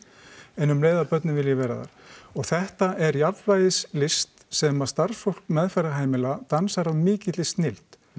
en um leið að börnin vilji vera þar og þetta er jafnvægislist sem að starfsfólk meðferðarheimila dansar af mikilli snilld